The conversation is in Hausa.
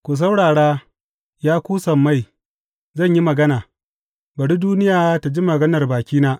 Ku saurara, ya ku sammai, zan yi magana; bari duniya ta ji maganar bakina.